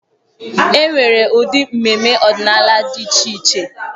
E nwere ụdị mmemme ọdịnala dị iche iche.